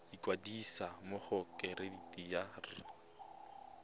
ikwadisa mo go kereite r